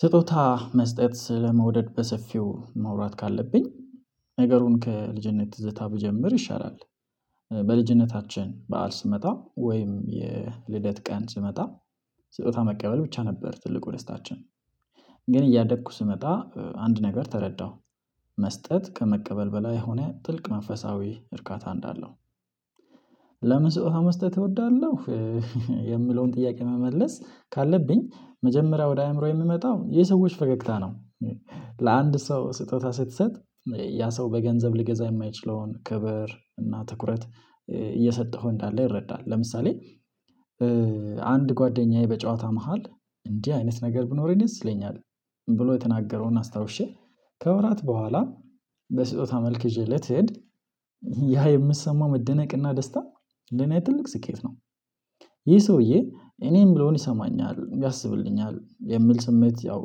ስጦታ መስጠት ስለመውደድ በሰፊው ማውራት ካለብኝ ነገሩን ከልጅነት ትዝታ ብጀምር ይሻላል። በልጅነታችን በዓል ሲመጣ ወይም የልደት ቀን ሲመጣ ስጦታ መቀበል ብቻ ነበር ትልቁ ደስታችን። ግን እያደግኩ ስመጣ አንድ ነገር ተረዳሁ መስጠት ከመቀበል በላይ የሆነ ጥልቅ መንፈሳዊ እርካታ እንዳለው። ለምን ስጦታ መስጠት እወዳለሁ። የሚለውን ጥያቄ መመለስ ካለብኝ መጀመሪያ ወደ አእምሮዬ የሚመጣው የሰዎች ፈገግታ ነው። ለአንድ ሰው ስጦታ ስትሰጥ ያ ሰው በገንዘብ ሊገዛ የማይችለውን ክብር እና ትኩረት እየሰጠሁ እንዳለ ይረዳል ለምሳሌ። አንድ ጓደኛዬ በጨዋታ መሃል እንዲህ አይነት ነገር ቢኖረኝ ደስ ይለኛል። ብሎ የተናገረውን ከወራት በኋላ በስጦታ መልክ ይዤለት ስሄድ ያ የሚሰማው መደነቅና ደስታ ለኔ ትልቅ ስኬት ነው። ይህ ሰውዬ እኔ ምለውኝ ይሰማኛል ያስብልኛል የሚል ስሜት ያው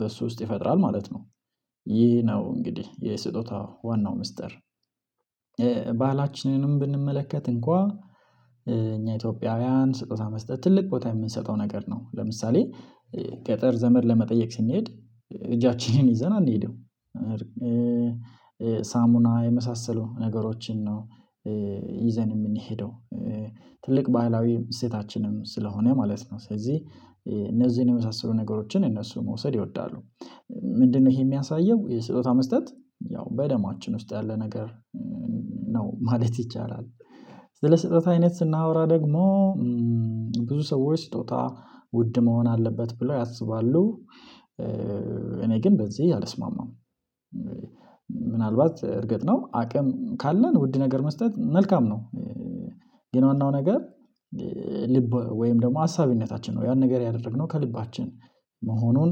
በሱ ውስጥ ይፈጥራል ማለት ነው። ይሄ ነው እንግዲህ የስጦታ ዋናው ሚስጥር። ባህላችንንም ብንመለከት እንኳ እኛ ኢትዮጵያውያን ስጦታ መስጠት ትልቅ ቦታ የምንሰጠው ነገር ነው። ለምሳሌ ገጠር ዘመድ ለመጠየቅ ስንሄድ እጃችንን ይዘን አንሄደም። ሳሙና የመሳሰሉ ነገሮችን ነው ይዘን የምንሄደው ትልቅ ባህላዊ እሴታችንም ስለሆነ ማለት ነው። ስለዚህ እነዚህን የመሳሰሉ ነገሮችን እነሱ መውሰድ ይወዳሉ። ምንድነው ይሄ የሚያሳየው የስጦታ መስጠት ያው በደማችን ውስጥ ያለ ነገር ነው ማለት ይቻላል? ስለ ስህተት አይነት ስናወራ ደግሞ ብዙ ሰዎች ስጦታ ውድ መሆን አለበት ብለው ያስባሉ። እኔ ግን በዚህ አልስማማም ነው ምናልባት እርግጥ ነው አቅም ካለን ውድ ነገር መስጠት መልካም ነው። ግን ዋናው ነገር ልብ ወይም ደግሞ አሳቢነታችን ነው ያን ነገር ያደረግነው ከልባችን መሆኑን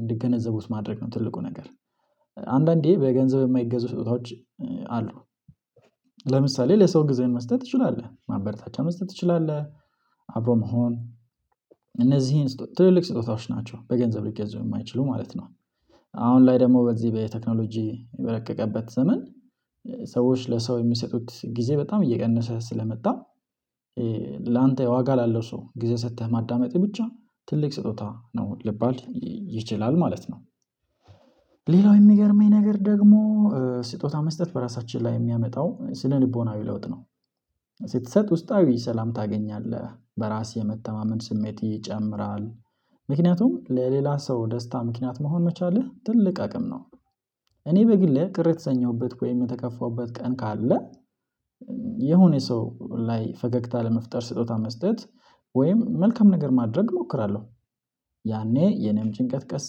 እንዲገነዘቡት ማድረግ ነው ትልቁ ነገር። አንዳንዴ በገንዘብ የማይገዙ ስጦታዎች አሉ። ለምሳሌ ለሰው ጊዜ መስጠት ትችላለህ ማበረታቻ መስጠት ትችላለህ አብሮ መሆን እነዚህን ትልልቅ ስጦታዎች ናቸው በገንዘብ ሊገዙ የማይችሉ ማለት ነው። አሁን ላይ ደግሞ በዚህ በቴክኖሎጂ በረቀቀበት ዘመን ሰዎች ለሰው የሚሰጡት ጊዜ በጣም እየቀነሰ ስለመጣ። ላንተ ዋጋ ላለው ሰው ጊዜ ሰጥተህ ማዳመጥህ ብቻ ትልቅ ስጦታ ነው ሊባል ይችላል ማለት ነው። ሌላው የሚገርመኝ ነገር ደግሞ ስጦታ መስጠት በራሳችን ላይ የሚያመጣው ስነ ልቦናዊ ለውጥ ነው። ስትሰጥ ውስጣዊ ሰላም ታገኛለህ በራስ የመተማመን ስሜት ይጨምራል ምክንያቱም ለሌላ ሰው ደስታ ምክንያት መሆን መቻልህ ትልቅ አቅም ነው። እኔ በግሌ ቅር የተሰኘሁበት ወይም የተከፋሁበት ቀን ካለ የሆነ ሰው ላይ ፈገግታ ለመፍጠር ስጦታ መስጠት ወይም መልካም ነገር ማድረግ እሞክራለሁ። ያኔ የኔም ጭንቀት ቀስ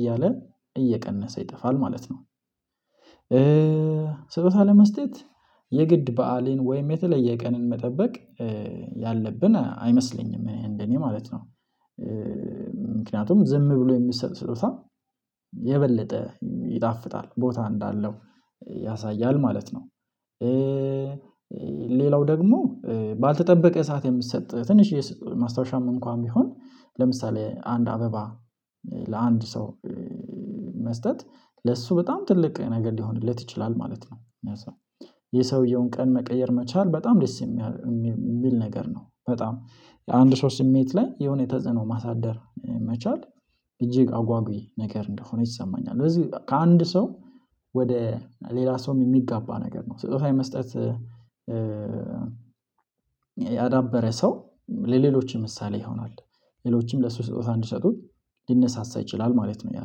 እያለ እየቀነሰ ይጠፋል ማለት ነው። ስጦታ ለመስጠት የግድ በዓልን ወይም የተለየ ቀንን መጠበቅ ያለብን አይመስለኝም እኔ እንደኔ ማለት ነው። ምክንያቱም ዝም ብሎ የሚሰጥ ስጦታ የበለጠ ይጣፍጣል ቦታ እንዳለው ያሳያል ማለት ነው። ሌላው ደግሞ ባልተጠበቀ ሰዓት የምትሰጥ ትንሽዬ ማስታወሻም እንኳን ቢሆን ለምሳሌ አንድ አበባ ለአንድ ሰው መስጠት ለሱ በጣም ትልቅ ነገር ሊሆንለት ይችላል ማለት ነው። ሰውየውን ቀን መቀየር መቻል በጣም ደስ የሚል ነገር ነው በጣም የአንድ ሰው ስሜት ላይ የሆነ ተጽዕኖ ማሳደር መቻል እጅግ አጓጊ ነገር እንደሆነ ይሰማኛል። ስለዚህ ከአንድ ሰው ወደ ሌላ ሰውም የሚጋባ ነገር ነው ስጦታ የመስጠት ያዳበረ ሰው ለሌሎችም ምሳሌ ይሆናል። ሌሎችም ለሱ ስጦታ እንዲሰጡት ሊነሳሳ ይችላል ማለት ነው ያ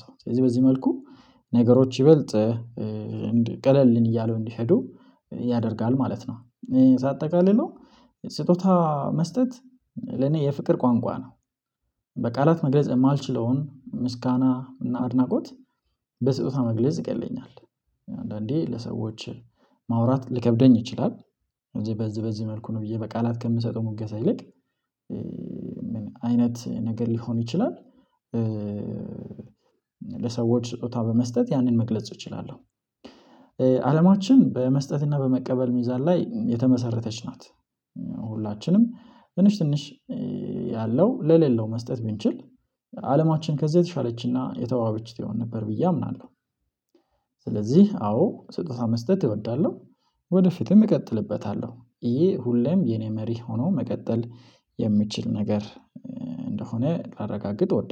ሰው ስለዚህ በዚህ መልኩ ነገሮች ይበልጥ ቀለል እያለው እንዲሄዱ ያደርጋል ማለት ነው። ሳጠቃልለው ስጦታ መስጠት ለኔ የፍቅር ቋንቋ ነው በቃላት መግለጽ የማልችለውን ምስጋና እና አድናቆት በስጦታ መግለጽ ይቀለኛል። አንዳንዴ ለሰዎች ማውራት ሊከብደኝ ይችላል እዚህ በዚህ በዚህ መልኩ ነው ብዬ በቃላት ከምሰጠው ሙገሳ ይልቅ አይነት ነገር ሊሆን ይችላል። ለሰዎች ስጦታ በመስጠት ያንን መግለጽ እችላለሁ። አለማችን በመስጠትና በመቀበል ሚዛን ላይ የተመሰረተች ናት። ሁላችንም ትንሽ ትንሽ ያለው ለሌለው መስጠት ብንችል አለማችን ከዚህ የተሻለችና የተዋበችት ትሆን ነበር ብዬ አምናለሁ። አዎ ስጦታ መስጠት እወዳለሁ። ወደፊትም እቀጥልበታለሁ ይሄ ሁሌም የኔ መሪ ሆኖ መቀጠል የሚችል ነገር እንደሆነ ላረጋግጥ እወዳለሁ